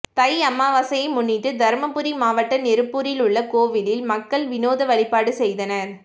தை அமாவாசையை முன்னிட்டு தர்மபுரி மாவட்டம் நெருப்பூரில் உள்ள கோவிலில் மக்கள் விநோத வழிபாடு செய்தனர்